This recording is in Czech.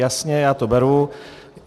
Jasně, já to beru.